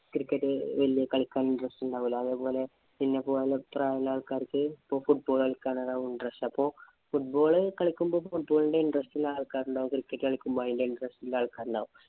cricket കളിക്കാന്‍ interest ഉണ്ടാവുല്ല. അതേപോലെ നിന്നെപോലെ അത്രയുള്ള ആള്‍ക്കാര്‍ക്ക് ഇപ്പൊ football കളിക്കാനാവും interestFootball കളിക്കുമ്പോ football ഇന്‍റെ interest ഇല്‍ ആള്‍ക്കാരുണ്ടാവും Cricket കളിക്കുമ്പോ അതിനു interest ഉള്ള ആള്‍ക്കാരുണ്ടാവും.